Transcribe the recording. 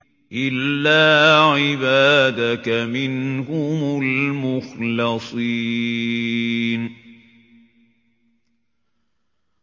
إِلَّا عِبَادَكَ مِنْهُمُ الْمُخْلَصِينَ